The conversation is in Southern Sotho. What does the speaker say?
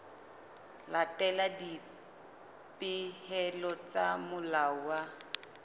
latela dipehelo tsa molao wa